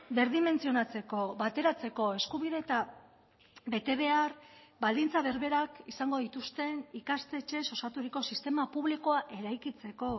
berdimentzionatzeko bateratzeko eskubide eta betebehar baldintza berberak izango dituzten ikastetxez osaturiko sistema publikoa eraikitzeko